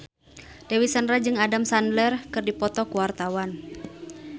Dewi Sandra jeung Adam Sandler keur dipoto ku wartawan